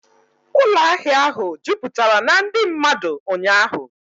Ụlọ ahịa ahụ jupụtara na ndị mmadụ ụnyaahụ